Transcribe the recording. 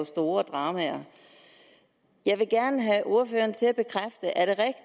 store dramaer jeg vil gerne have ordføreren til at bekræfte er